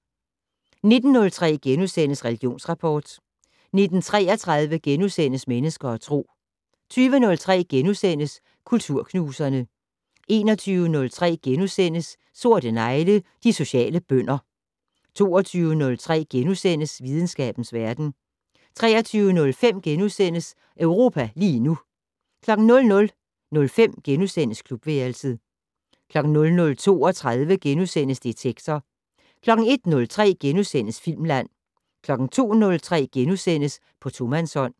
19:03: Religionsrapport * 19:33: Mennesker og Tro * 20:03: Kulturknuserne * 21:03: Sorte negle: De sociale bønder * 22:03: Videnskabens verden * 23:05: Europa lige nu * 00:05: Klubværelset * 00:32: Detektor * 01:03: Filmland * 02:03: På tomandshånd *